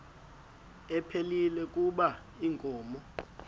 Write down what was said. ephilile kuba inkomo